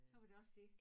Så var det også dét